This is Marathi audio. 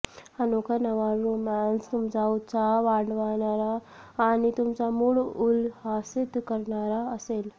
अनोखा नवा रोमान्स तुमचा उत्साह वाढवणारा आणि तुमचा मूड उल्हसित करणारा असेल